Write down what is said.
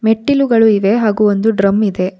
ಮೆಟ್ಟಿಲುಗಳು ಇವೆ ಹಾಗೂ ಒಂದು ಡ್ರಮ್ ಇದೆ.